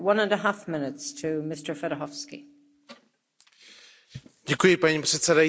Paní předsedající, vážený pane komisaři, děkuji za Vaši obsáhlou zprávu.